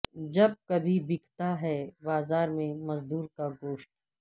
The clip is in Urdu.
جب کبھی بکتا ہے بازار میں مزدور کا گوشت